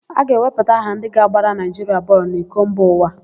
A ga-ewepụta aha ndị ga-agbara Naịjiria bọọlụ n'iko mba ụwa.